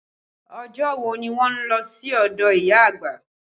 Ọjọ́ wo ni wọn lọ sí ọdọ ìyá àgbà?